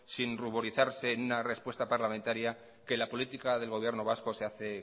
sin ruborizarse en una respuesta parlamentaria que la política del gobierno vasco se hace